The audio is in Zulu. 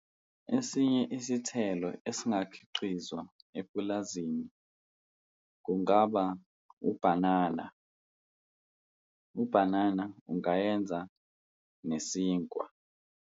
Esinye isithelo esingakhiqizwa epulazini kungaba ubhanana, ubhanana ungayenza nesinkwa.